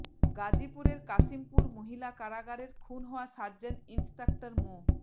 গাজীপুরের কাশিমপুর মহিলা কারাগারের খুন হওয়া সার্জেন্ট ইন্সট্রাক্টর মো